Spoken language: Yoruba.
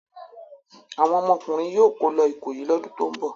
Àwọn ọmọkùnrin yóò kó lọ Ìkòyí lọ́dún tó ń bọ̀.